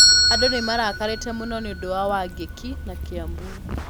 Andũ nĩ marakarĩte mũno nĩ ũndũ wa Wangiki na Kiambu.